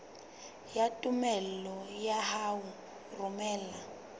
ya tumello ya ho romela